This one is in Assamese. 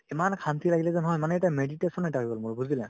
ইমান শান্তি লাগিলে যে নহয় মানে এটা meditation এটা হৈ গ'ল মোৰ বুজিলা